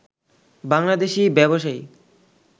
বাংলাদেশী ব্যবসায়ী